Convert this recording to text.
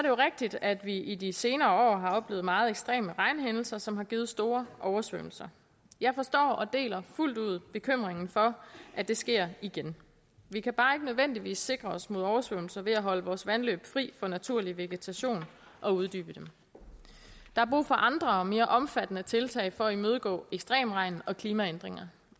jo rigtigt at vi i de senere år har oplevet meget ekstreme regnhændelser som har givet store oversvømmelser jeg forstår og deler fuldt ud bekymringen for at det sker igen vi kan bare ikke nødvendigvis sikre os mod oversvømmelser ved at holde vores vandløb fri for naturlig vegetation og uddybe dem der er brug for andre og mere omfattende tiltag for at imødegå ekstrem regn og klimaændringer